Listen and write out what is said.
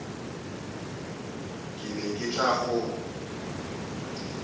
ke be ke tla go